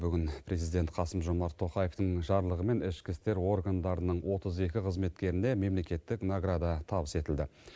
бүгін президент қасым жомарт тоқаевтың жарлығымен ішкі істер органдарының отыз екі қызметкеріне мемлекеттік награда табыс етілді